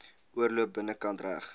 oorloop binnekant reg